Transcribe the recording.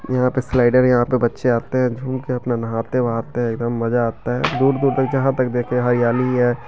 यहां पर स्लाइडर है यहां बच्चे आते हैं झूम के अपना नहाते वहाते है एकदम मजा आता है दूर दूर तक देखिए हरियाली है ।